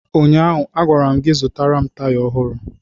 Ụnyaahụ, a gwara m gị, zụtara m taya ọhụrụ!